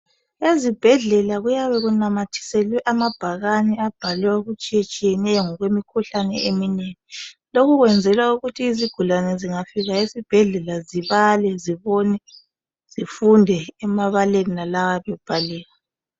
Ezibhedlela kuyabe kunamathiselwe amabhakani abhalwe okutshiyetshiyeneyo ngokwemikhuhlane. Lokhu kuyenzelwa ukuthi izigulane zingafika esibhedlela zibale , zibonane, zifunde emabaleni wona lawa imikhuhlane.